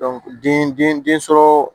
den den sɔrɔ